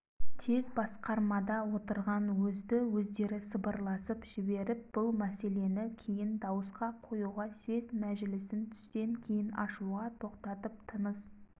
тез басқармада отырған өзді-өздері сыбырласып жіберіп бұл мәселені кейін дауысқа қоюға съезд мәжілісін түстен кейін ашуға тоқтатып тыныс